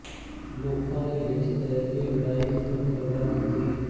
ਲੋਕਾਂ ਨੇ ਵਿੱਚ ਪੈ ਕੇ ਲੜਾਈ ਖਤਮ ਕਰਵਾ ਦਿੱਤੀ